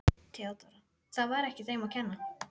THEODÓRA: Það var ekki þeim að kenna.